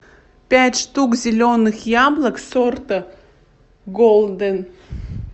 пять штук зеленых яблок сорта голден